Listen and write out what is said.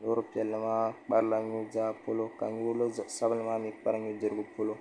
loori piɛlli maa kparila nu' zaa polo ka loori sabinli maa mi kpari nu' dirigu polo.